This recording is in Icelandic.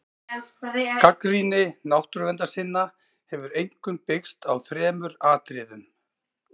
Gagnrýni náttúruverndarsinna hefur einkum byggst á þremur atriðum.